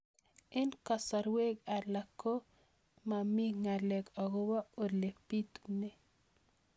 Eng' kasarwek alak ko mami ng'alek akopo ole pitunee